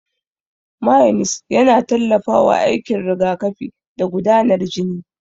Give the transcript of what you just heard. Mayones yana tallafawa aikin rigakafi da gudanar jini.